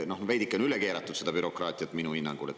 Noh, veidikene on minu hinnangul seda bürokraatiat üle keeratud.